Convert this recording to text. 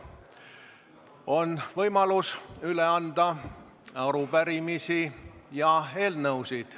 On võimalus üle anda arupärimisi ja eelnõusid.